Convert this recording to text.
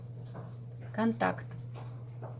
контакт